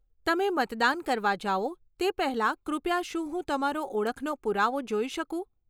તમે મતદાન કરવા જાઓ તે પહેલાં કૃપયા શું હું તમારો ઓળખનો પુરાવો જોઈ શકું?